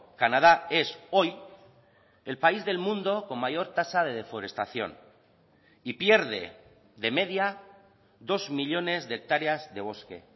canadá es hoy el país del mundo con mayor tasa de deforestación y pierde de media dos millónes de hectáreas de bosque